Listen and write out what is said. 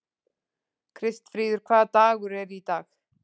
Kristfríður, hvaða dagur er í dag?